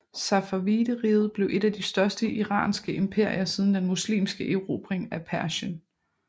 Safavideriget blev et af de største iranske imperier siden den muslimske erobring af Persien